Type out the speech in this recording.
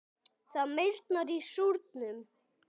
Það meyrnar í súrnum.